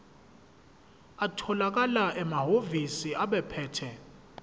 atholakala emahhovisi abaphethe